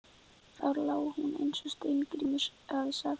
Og þar lá hún eins og Steingrímur hafði sagt.